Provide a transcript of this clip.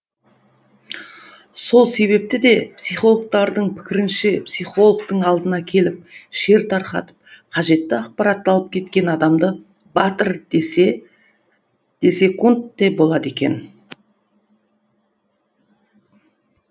сол себепті де психологтардың пікірінше психологтың алдына келіп шер тарқатып қажетті ақпаратты алып кеткен адамды батыр десек те болады екен